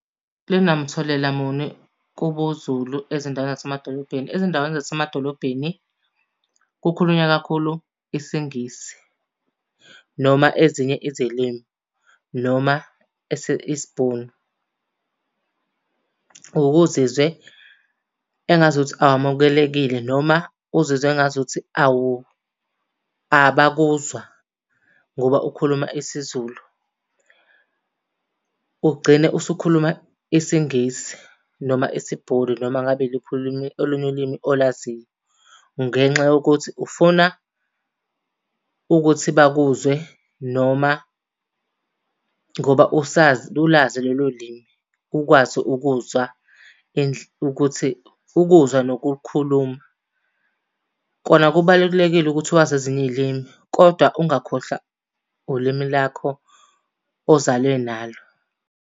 Linamthelela muni kubuZulu ezindaweni zasemadolobheni. Ezindaweni zasemadolobheni kukhulunywa kakhulu isiNgisi noma ezinye izilimi noma isiBhunu. Uke uzizwe engazuthi awamukelekile noma uzizwe engazuthi awu abakuzwa ngoba ukhuluma isiZulu. Ugcine usukhuluma isiNgisi noma isiBhunu noma ngabe iluphi ulimi olunye ulimi olaziyo. Ngenxa yokuthi ufuna ukuthi bakuzwe noma ngoba usazi ulazi lelo limi, ukwazi ukuzwa ukuthi ukuzwa nokulukhuluma. Kona kubalulekile ukuthi wazi ezinye iy'limi kodwa ungakhohlwa ulimi lakho ozalwe nalo.